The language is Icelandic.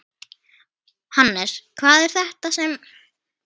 Hannes, hvað er þetta sem?